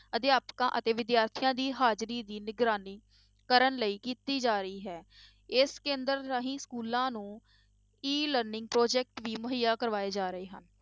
ਅਧਿਆਪਕਾਂ ਅਤੇ ਵਿਦਿਆਰਥੀਆਂ ਦੀ ਹਾਜ਼ਰੀ ਦੀ ਨਿਗਰਾਨੀ ਕਰਨ ਲਈ ਕੀਤੀ ਜਾ ਰਹੀ ਹੈ, ਇਸ ਕੇਂਦਰ ਰਾਹੀਂ schools ਨੂੰ E learning project ਵੀ ਮੁਹੱਈਆਂ ਕਰਵਾਏ ਜਾ ਰਹੇ ਹਨ।